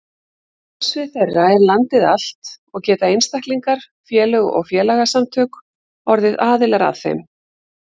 Starfsvið þeirra er landið allt og geta einstaklingar, félög og félagasamtök orðið aðilar að þeim.